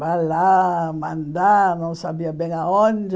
Vai lá, mandar, não sabia bem aonde.